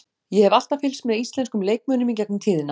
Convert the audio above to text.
Ég hef alltaf fylgst með íslenskum leikmönnum í gegnum tíðina.